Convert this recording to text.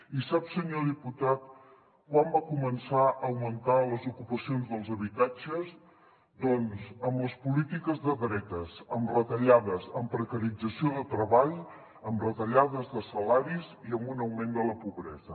i sap senyor diputat quan van començar a augmentar les ocupacions dels habitatges doncs amb les polítiques de dretes amb retallades amb precarització de treball amb retallades de salaris i amb un augment de la pobresa